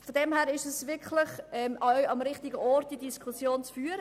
In diesem Sinn ist es hier wirklich der richtige Ort, diese Diskussion zu führen.